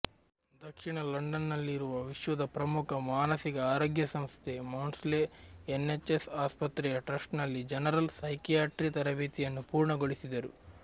ದಕ್ಷಿಣ ಲಂಡನ್ನಲ್ಲಿರುವ ವಿಶ್ವದ ಪ್ರಮುಖ ಮಾನಸಿಕ ಆರೋಗ್ಯ ಸಂಸ್ಥೆ ಮೌಡ್ಸ್ಲೆ ಎನ್ಎಚ್ಎಸ್ ಆಸ್ಪತ್ರೆಯ ಟ್ರಸ್ಟ್ನಲ್ಲಿ ಜನರಲ್ ಸೈಕಿಯಾಟ್ರಿ ತರಬೇತಿಯನ್ನು ಪೂರ್ಣಗೊಳಿಸಿದರು